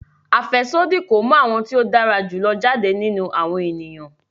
Afẹsodi ko mu awọn ti o dara julọ jade ninu awọn eniyan